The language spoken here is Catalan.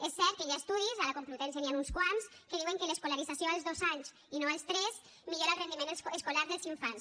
és cert que hi ha estudis a la complutense n’hi han uns quants que diuen que l’escolarització als dos anys i no als tres millora el rendiment escolar dels infants